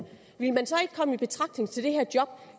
ville man så ikke komme i betragtning til det her job